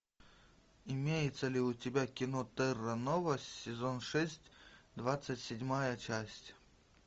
имеется ли у тебя кино терра нова сезон шесть двадцать седьмая часть